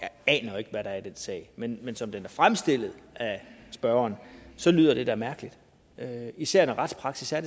jeg aner jo ikke hvad der er i den sag men som den bliver fremstillet af spørgeren lyder det da mærkeligt især når retspraksis er